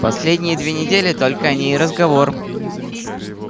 последние две недели только о ней и разговор